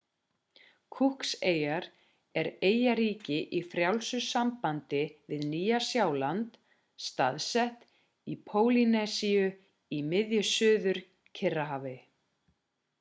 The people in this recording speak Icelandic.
cooks-eyjar er eyjaríki í frjálsu sambandi við nýja-sjáland staðsett í pólýnesíu í miðju suður-kyrrahafi